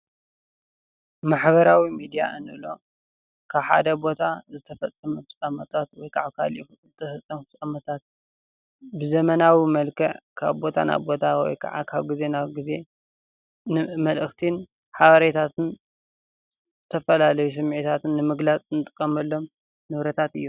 ማሕበራዊ ሚድያ እንብሎ ካብ ሓደ ቦታ ዝተፈፀሙ ፍፃመታት ወይ ከዓ ኣብ ካልእ ቦታ ዝተፈፀሙ ፍፃመታት ብዘመናዊ መልክዕ ካብ ቦታ ናብ ቦታ ወይ ከዓ ካብ ግዜ ናብ ግዜ መልእኽትን ሓበሬታትን ተፈላለዩ ስምዒታትን ንምግላፅ ንጥቀመሎም ንብረታት እዮም፡፡